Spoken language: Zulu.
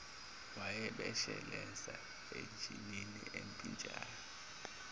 wayebeshezela ejinini empintshayo